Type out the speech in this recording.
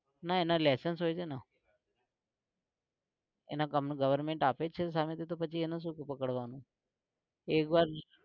ના એના license હોય છે ને. એને પણ goverment આપે જ છે સામેથી તો પછી એનું શું કોઈ પકડવાનું. એક વાર